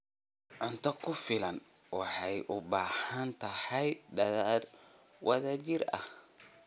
Cunto ku filan waxay u baahan tahay dadaal wadajir ah.